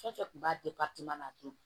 Fɛn fɛn kun b'a a to